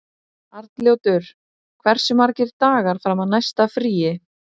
Arnljótur, hversu margir dagar fram að næsta fríi?